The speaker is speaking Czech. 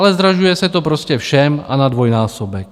Ale zdražuje se to prostě všem a na dvojnásobek.